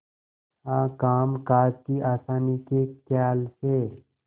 हाँ कामकाज की आसानी के खयाल से